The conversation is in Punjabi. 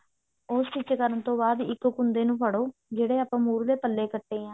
ਉਹ stich ਕਰਨ ਤੋਂ ਬਾਅਦ ਇੱਕ ਕੁੰਡੇ ਨੂੰ ਫੜੋ ਜਿਹੜੇ ਆਪਾਂ ਮੁਰ੍ਹਲੇ ਪੱਲੇ ਕੱਟੇ ਆ